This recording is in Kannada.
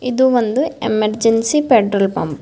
ಇದು ಒಂದು ಎಮರ್ಜೆನ್ಸಿ ಪೆಟ್ರೋಲ್ ಪಂಪ್ .